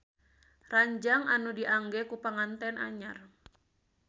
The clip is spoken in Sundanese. Ranjang anu diangge ku panganten anyar